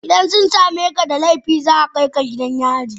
idan sun same ka da laifi za a kai ka gidan yari.